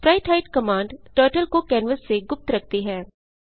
sprite hide command turtle को canvas से गुप्त रखती है